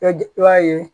I bɛ i b'a ye